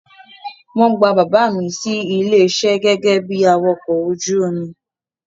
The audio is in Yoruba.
Wọ́n gba bàbá mi sí iṣẹ́ gẹ́gẹ́ bi awakọ̀ ojú omi.